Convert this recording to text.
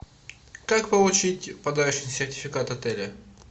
как получить подарочный сертификат отеля